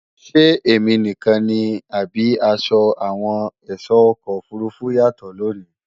Ṣé èmi nìkan ni, àbí asọ àwọn èsó ọkọ̀ òfurufú yàtọ̀ lòní?